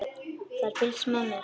Það er fylgst með mér.